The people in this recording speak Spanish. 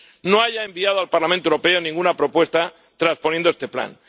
no haya enviado al Parlamento Europeo ninguna propuesta transponiendo este plan.